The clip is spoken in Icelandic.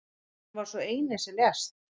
Hann var sá eini sem lést.